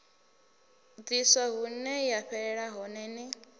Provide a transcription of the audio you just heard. ḽiswa huneya fhelela hone ni